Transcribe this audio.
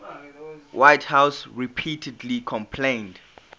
whitehouse repeatedly complained